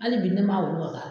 Hali bi ne ma olu wasaa